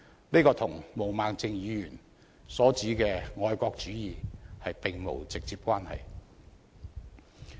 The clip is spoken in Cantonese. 這與毛孟靜議員所指的愛國主義並無直接關係。